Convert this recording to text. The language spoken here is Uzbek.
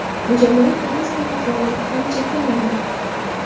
Jamoat transporti faoliyati ham cheklanmadi.